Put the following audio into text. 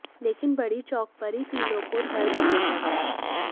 लेकिन बरही चौक पर ही तीनों को धर दबोचा गया